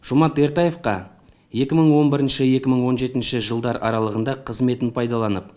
жомарт ертаевқа екі мың он бірінші екі мың он жетінші жылдар аралығында қызметін пайдаланып